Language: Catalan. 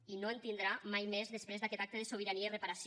i no en tindrà mai més després d’aquest acte de sobirania i reparació